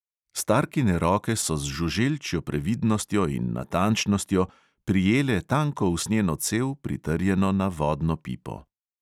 Starkine roke so z žuželčjo previdnostjo in natančnostjo prijele tanko usnjeno cev, pritrjeno na vodno pipo.